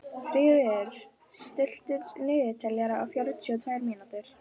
Fríður, stilltu niðurteljara á fjörutíu og tvær mínútur.